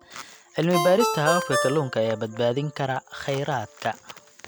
Cilmi baarista hababka kalluunka ayaa badbaadin kara kheyraadka.